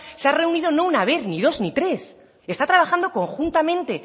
se ha reunido no una vez ni dos ni tres está trabajando conjuntamente